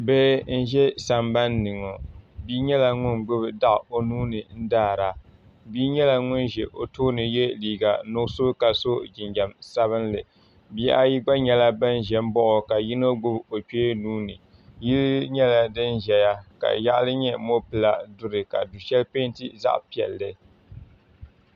Bihi n ʒɛ sambanni ŋɔ bia nyɛla ŋun gbibi taɣu o nuuni n daara bia nyɛla ŋun ʒɛ o tooni ye liiga nuɣuso ka so jinjiɛm sabinli bihi ayi gba nyɛla nan ʒɛ m baɣi o ka yino gbibi o kpee nuuni yili nyɛla din zaya ka yaɣali nyɛ mopila duri ka du'sheli penti zaɣa piɛlli.